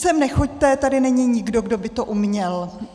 Sem nechoďte, tady není nikdo, kdo by to uměl.